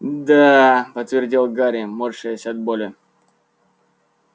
да подтвердил гарри морщась от боли